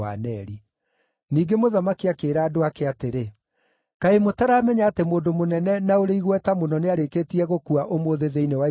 Ningĩ mũthamaki akĩĩra andũ ake atĩrĩ, “Kaĩ mũtaramenya atĩ mũndũ mũnene na ũrĩ igweta mũno nĩarĩkĩtie gũkua ũmũthĩ thĩinĩ wa Isiraeli?